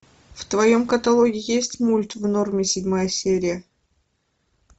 в твоем каталоге есть мульт в норме седьмая серия